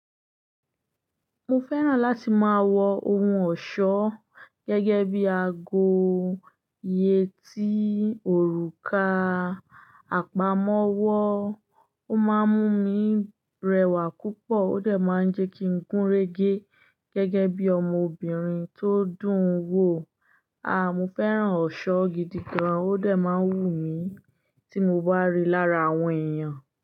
Mo fẹ́ràn láti máa wọ ohun ọ̀ṣọ́ gẹ́gẹ́ bí i ago, yẹtí, òrùka, àpamọ́wọ́. Ó máa ń mú mi rẹwà púpọ̀, ó dẹ̀ máa ń jẹ́ kí ń gúnrégé gẹ́gẹ́ bí ọmọbìnrin tó dùn wò. A! Mo fẹ́ràn ọ̀ṣọ́ gidi gan, ó dẹ̀ máa ń wù mí tí mo bá rí i lára àwọn èèyàn.